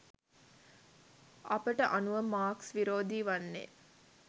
අපට අනුව මාක්ස් විරෝධී වන්නේ